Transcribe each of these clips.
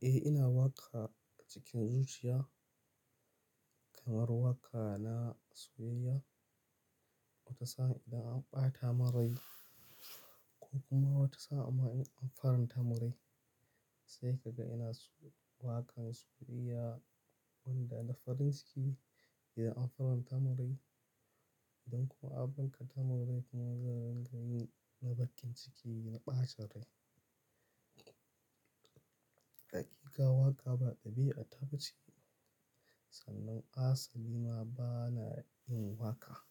Eh, ina waƙa cikin zuciya kamar waƙa na soyayya. Wata sa'an idan an ɓata min rai, ko kuma wata sa'an ma in an faranta min rai, sai ka ga ina waƙan soyayya wanda na farin ciki idan an faranta murai. Idan kuma aka bakanta min rai kuma zan yi na bakin ciki na ɓacin rai. Hakika waƙa ba ɗabi'a ta ba ce, sannan asali ma ba na yin waƙa.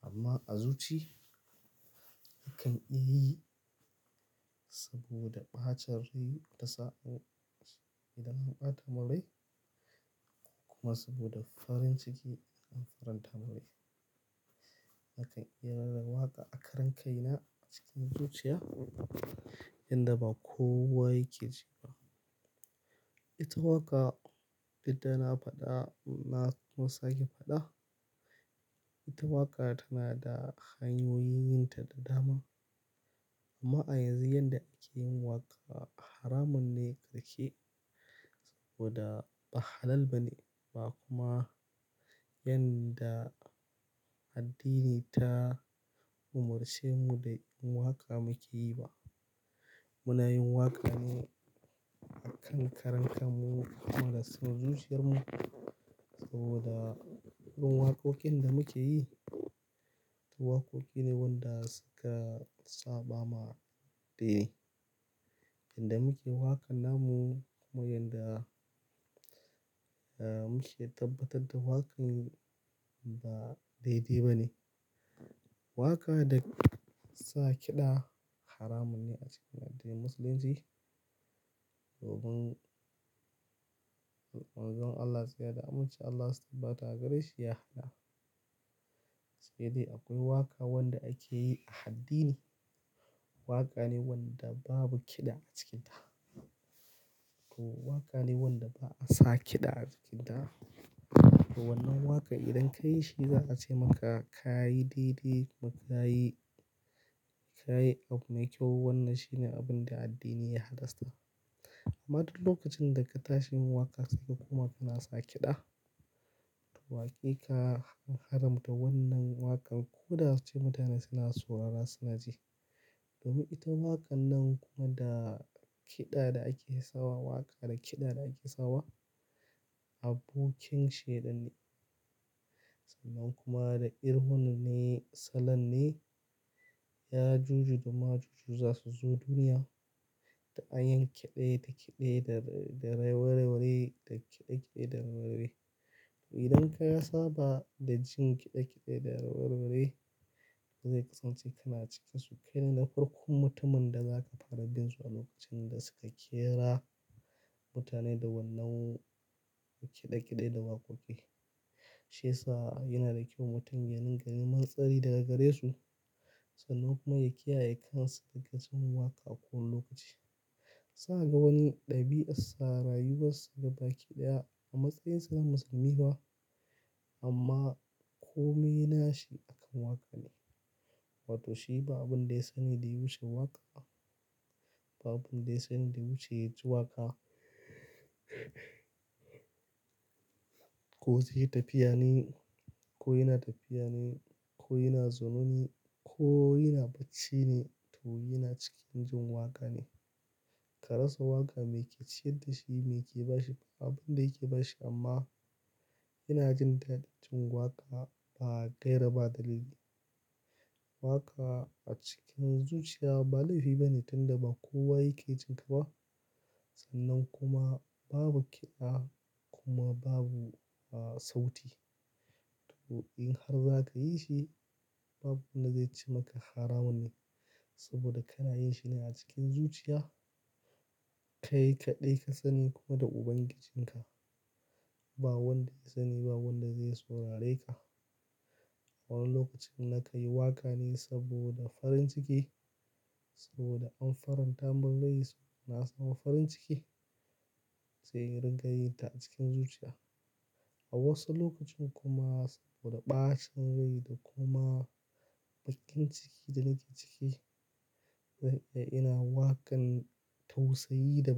Amma a zuci, nakan yi saboda macin rai tasa ko, idan an bata min rai idan an bata min rai, kuma saboda farin ciki idan an faranta min rai a kan iya rera waƙa a karan kai na cikin zuciya yanda ba kowa yake ji ba. Ita waƙa, duk da na faɗa na kuma sake faɗa. Ita waƙa tana da hanyoyin yin ta da dama. Amma a yanzu yanda ake yin waƙa haramun ne da ke saboda ba halal ba ne ba kuma yanda addini ta umarce mu da yin waƙa muke yi ba. Muna yin waƙa ne a kan karan kanmu kuma a cikin zuciyarmu, saboda wurin waƙoƙin da muke yi, waƙoƙi ne wanda suka saɓa ma dai ne. Yanda muke waƙa namu kuma yanda muke tabbatar da waƙan ba daidai ba ne. Waƙa da sa kiɗa haramun ne a cikin addinin musulunci domin Allah Ziya da Hamce Allah Sabata gare shi ya fada. Sai dai akwai waƙa wanda ake yi a addini. Waƙa ne wanda babu kiɗa a cikin ta. To waƙa ne wanda ba a sa kiɗa a ciki ta. To wannan waƙa idan ka yi shi za'a ce maka ka yi daidai kuma ka yi, ka yi abu mai kyau. Wannan shine abunda addini ya halasta amma duk lokacin da ka tashi yin waƙa sai ka kuma ka na sa kiɗa, to waƙe ka an haramta wannan waƙan ko da ya ce mutane suna saurara suna ji. Domin ita waƙan nan kuma da kiɗa da ake sawa waƙa da kiɗa da ake sawa abokin shaidan ne. Sannan kuma da irin hanan ne salon ne ya juju da ma juju za su zo duniya da an yi kiɗe da kiɗe da warai warai da kiɗe kiɗe da warai-warai. To idan ka saba da jin kiɗe-kiɗe da warai-warai, zai kasance kana cika sukaini na farkon mutumin da zaka fara bin su a lokacin da suka ƙera mutane da wannan kiɗe-kiɗe da waƙoƙi. Shi yasa yana da kyau mutum ya ringa neman tsari daga gare su sannan kuma ya kiyaye kansa daga jin waƙa a kowanne lokaci. Za kaga wani ɗabi'arsa da rayuwar sa gaba ki ɗaya a matsayinsa na musulmi ba amma, ko mai nashi akan waka ne, wa toh shi ba abun da yasani da ya wuce waka ba abun da ya sani da ya wuce yaji waƙa. Ko zai yi tafiya ne, ko yana tafiya ne, ko yana zaune ne ko yana bacci ne to yana cikin jin waƙa ne. Ka rasa waƙa me ke ciyar da shi me ke bashi ba abun dai yake bashi amma yana jin daɗin jin waƙa ba gaira ba dalili. Waƙa a cikin zuciya ba laifi ba ne tun da ba kowa yake jinƙa ba sannan kuma babu kiɗa kuma babu sauti. To in har za ka yi shi babu wanda zai ce maka haramun ne saboda kana yin shi ne a cikin zuciya. Kai kaɗai ka sani kuma da Ubangijinka. Ba wanda ya sani, ba wanda zai saurare ka. A wani lokacin nakan yi waƙa ne saboda farin ciki saboda an faranta min rai suna sawa farin ciki, sai ringayin ta a cikin zuciya. A wasu lokacin kuma saboda ɓacin rai da kuma baƙin ciki da nake ciki ina waƙan tausayi da bakin.